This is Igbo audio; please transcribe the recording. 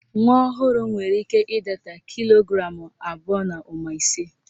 Nwa ọhụrụ nwere ike ịdata kilo gramụ abụọ na ụma ise